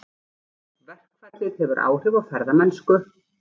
Verkfallið hefur áhrif á ferðamennsku